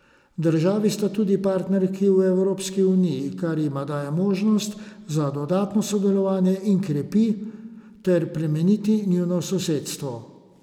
Državi sta tudi partnerki v Evropski uniji, kar jima daje možnost za dodatno sodelovanje in krepi ter plemeniti njuno sosedstvo.